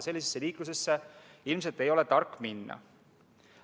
Sellisesse liiklusesse ilmselt ei ole tark minna.